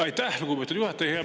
Aitäh, lugupeetud juhataja!